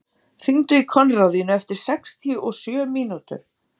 Steinvör, hringdu í Konráðínu eftir sextíu og sjö mínútur.